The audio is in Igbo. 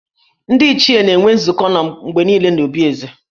Ndị Ichie na-enwe nzukọ mgbe niile n’obi Eze